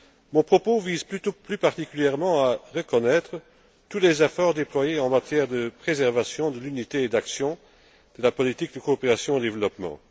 Mon propos vise plus particulièrement à reconnaître tous les efforts déployés en matière de préservation de l'unité et d'action de la politique de coopération au développement.